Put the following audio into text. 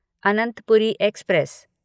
Anantpuri express